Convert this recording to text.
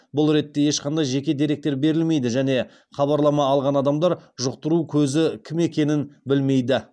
бұл ретте ешқандай жеке деректер берілмейді және хабарлама алған адамдар жұқтыру көзі кім екенін білмейді